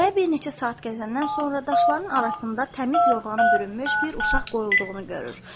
Qaya bir neçə saat gəzəndən sonra daşların arasında təmiz yorğanı bürünmüş bir uşaq qoyulduğunu görür.